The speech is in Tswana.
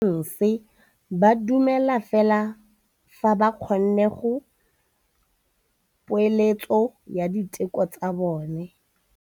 Borra saense ba dumela fela fa ba kgonne go bona poeletsô ya diteko tsa bone.